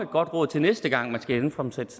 godt råd til næste gang man skal genfremsætte